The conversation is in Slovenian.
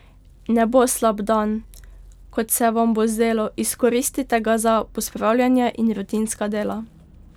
Ne bo slab dan, kot se vam bo zdelo, izkoristite ga za pospravljanje in rutinska dela.